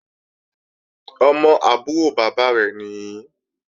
Ọmọ àbúrò bàbá rẹ̀ nìí